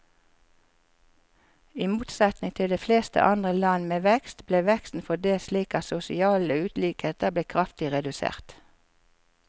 I motsetning til de fleste andre land med vekst, ble veksten fordelt slik at sosiale ulikheter ble kraftig redusert.